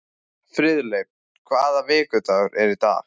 Friðleif, hvaða vikudagur er í dag?